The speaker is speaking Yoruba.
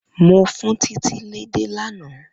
Mo fun Titi édè lana.